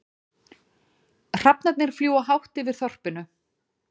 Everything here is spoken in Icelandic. Hrafnarnir fljúga hátt yfir þorpinu.